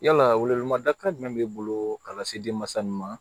Yala welewelemada jumɛn b'i bolo ka lase denmansa ma